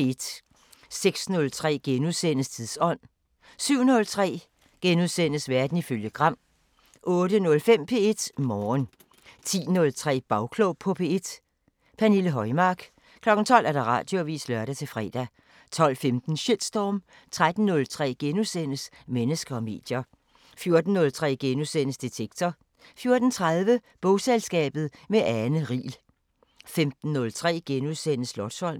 06:03: Tidsånd * 07:03: Verden ifølge Gram * 08:05: P1 Morgen 10:03: Bagklog på P1: Pernille Højmark 12:00: Radioavisen (lør-fre) 12:15: Shitstorm 13:03: Mennesker og medier * 14:03: Detektor * 14:30: Bogselskabet – med Ane Riel 15:03: Slotsholmen *